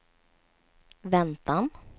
väntan